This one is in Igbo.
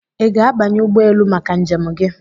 Ị ga-abanye ụgbọ elu maka njem gị?